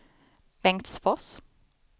Bengtsfors